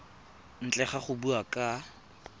ntle ga go bua ka